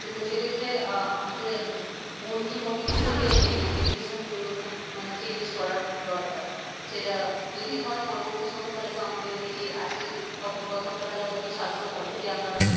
তো সে ক্ষেত্রে আমাদের মূল যে motive ছিল যে এই education পরিবর্তন মানে changes করার দরকার সেটা যদি হয় পরবর্তী সময় আমাদের এই যে আজকের কথোপকথনটা তাহলে হয়তো সার্থক হবে যে আমরা